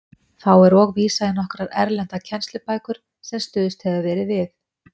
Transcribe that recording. Þá er og vísað í nokkrar erlendar kennslubækur, sem stuðst hefur verið við.